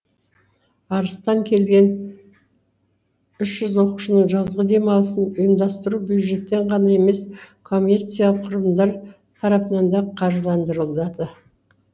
арыстан келген үш жүз оқушының жазғы демалысын ұйымдастыру бюджеттен ғана емес коммерциялық құрылымдар тарапынан да қаржыландырылады